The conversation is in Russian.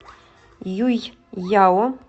юйяо